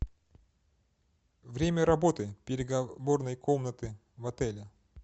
время работы переговорной комнаты в отеле